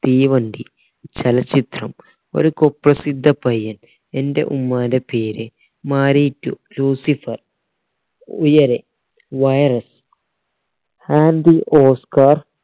തീവണ്ടി ചലച്ചിത്രം Oru Kuprasidha Payyan Ente Ummante Peru Maari two Lucifer Uyare Virus oscar